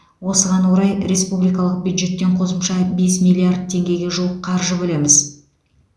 осыған орай республикалық бюджеттен қосымша бес миллиард теңгеге жуық қаржы бөлеміз